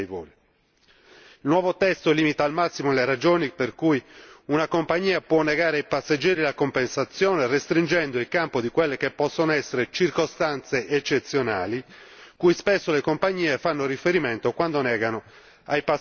Il nuovo testo limita al massimo le ragioni per cui una compagnia può negare ai passeggeri la compensazione, restringendo il campo di quelle che possono essere circostanze eccezionali, cui spesso le compagnie fanno riferimento quando negano ai passeggeri un rimborso.